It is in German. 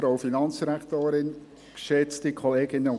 Kommissionssprecher der FiKo-Mehrheit.